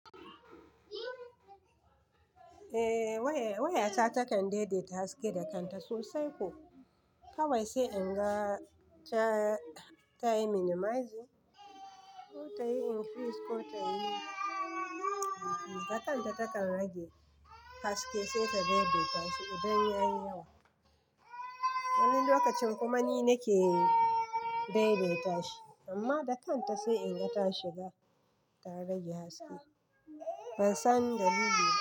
Eh waya ta takan daidaita haske da kanta sosai ko kawai sai in ga ta yi minimize ko ta yi increase ko ta yi, da kanta takan rage haske sai ta daidaita shi idan ya yi yawa. Wani lokacin kuma ni nake daidaita shi amma da kanta sai in ga ta shiga ta rage haske. Ban san dalili ba.